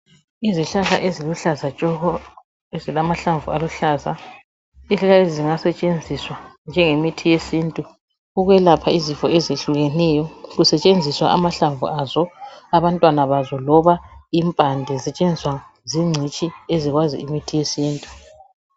Izihlahla eziluhlaza tshoko, zilamahlamvu aluhlaza. Izihlahla lezi zingasetshenziswa njenge mithi yesintu ukwelapha izifo ezehlukeneyo kusetshenziswa amahlamvu azo, abantwana bazo loba impande ,zisetshenziswa zingcitshi ezikwazi imithi yesintu.